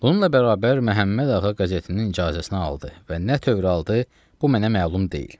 Onunla bərabər Məhəmməd Ağa qəzetinin icazəsini aldı və nə tövür aldı, bu mənə məlum deyil.